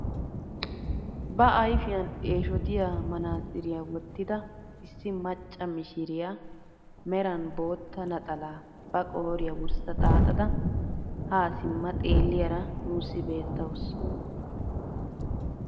Ba ayfiyaan eshotiyaa manaatsiriyaa wottida issi macca mishiriyaa meran bootta naxalaa ba qooriyaa wurssa xaaxada haa simma xeelliyaara nuusi beettawus.